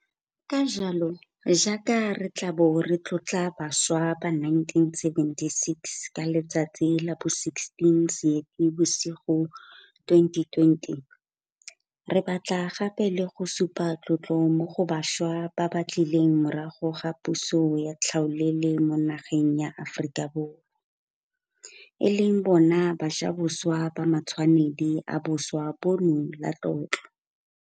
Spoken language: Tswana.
Ka jalo, jaaka re tla bo re tlotla bašwa ba 1976 ka letsatsi la bo 16 Seetebosigo 2020, re batla gape le go supa tlotlo mo go bašwa ba ba tlileng morago ga puso ya tlhaolele mo nageng ya Aforika Borwa, e leng bona bajaboswa ba ba matshwanedi ba boswa bono la tlotlo.